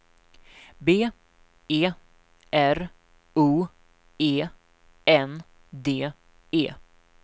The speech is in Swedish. B E R O E N D E